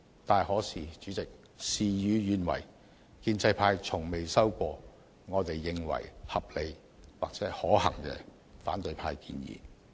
主席，然而事與願違，建制派從未收到我們認為合理及可行的反對派建議。